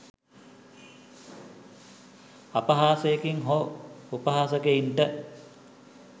අපහාසකයින් හෝ උපහාසකයින්ට